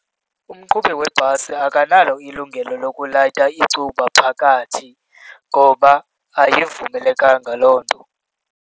Umqhubi webhasi akanalo ilungelo lokulayita icuba phakathi ngoba ayivumelekanga loo nto.